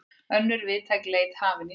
Önnur víðtæk leit hafin í Sviss